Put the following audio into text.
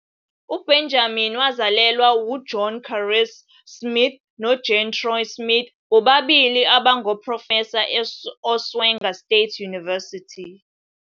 UBenjamin wazalelwa uJohn Kares Smith noJean Troy-Smith, bobabili abangoprofesa e- Oswego State University.